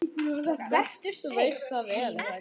Vertu sæll, heimur.